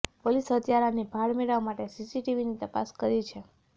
પોલીસે હત્યારાની ભાળ મેળવવા માટે સીસીટીવીની તપાસ શરૂ કરી છે